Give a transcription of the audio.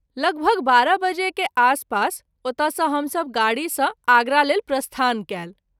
लगभग बारह बजे के आसपास ओतय सँ हम सभ गाड़ी सँ आगरा लेल प्रस्थान कएल।